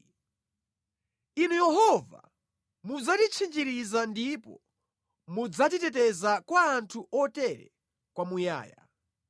Inu Yehova mudzatitchinjiriza ndipo mudzatiteteza kwa anthu otere kwamuyaya.